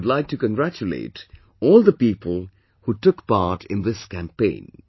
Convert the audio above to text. I would like to congratulate all the people who took part in this campaign